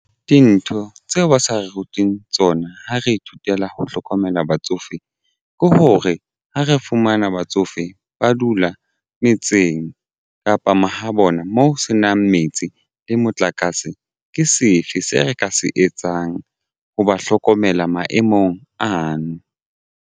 Dintho tseo ba sa re ruting tsona ha re ithutela ho hlokomela batsofe ke hore ha re fumana batsofe ba dula metseng kapa mahabona moo ho senang metsi le motlakase ke sefe se re ka se etsang ho ba hlokomela maemong ano?